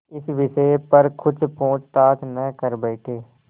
इस विषय पर कुछ पूछताछ न कर बैठें